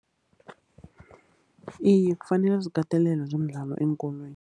Iye, kufanele zikatelelwe zomdlalo eenkolweni.